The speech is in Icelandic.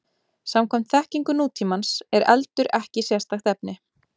Samkvæmt þekkingu nútímans er eldur ekki sérstakt efni.